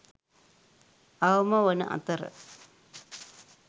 අවම වන අතර